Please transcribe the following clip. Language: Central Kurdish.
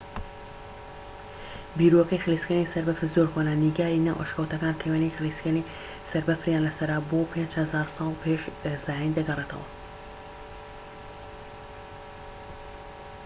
بیرۆکەی خلیسکێنەی سەر بەفر زۆر کۆنە - نیگاری ناو ئەشکەوتەکان کە وێنەی خلیسکێنەی سەر بەفریان لە سەرە بۆ 5000 ساڵ پێش زایین دەگەڕێتەوە‎!